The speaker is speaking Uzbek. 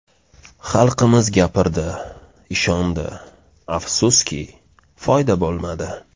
Xalqimiz gapirdi, ishondi, afsuski, foyda bo‘lmadi.